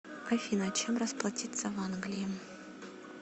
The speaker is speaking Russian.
афина чем расплатиться в англии